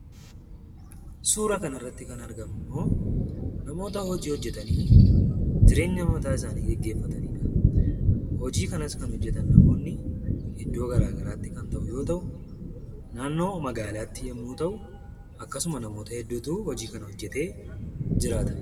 Suura kanarratti kan argamummoo, namoota hojii hojjatanii jireenya mataa isaanii gaggeeffatanidha. Hojii kanas kan hojjatan namoonni iddoo garagaraatti kan ta'u yoo ta'u; naannoo magaalaatti yommuu ta'u, akkasuma namoota hedduutu hojii kana hojjatee jiraata.